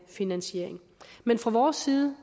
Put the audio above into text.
finansieret men fra vores side